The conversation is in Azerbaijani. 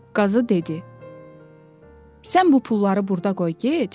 Qazı dedi: “Sən bu pulları burda qoy get.”